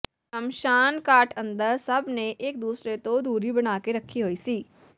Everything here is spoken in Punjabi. ਸ਼ਮਸ਼ਾਨ ਘਾਟ ਅੰਦਰ ਸੱਭ ਨੇ ਇਕ ਦੂਸਰੇ ਤੋਂ ਦੂਰੀ ਬਣਾ ਕੇ ਰੱਖੀ ਹੋਈ ਸੀ